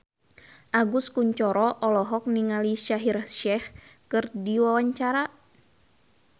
Agus Kuncoro olohok ningali Shaheer Sheikh keur diwawancara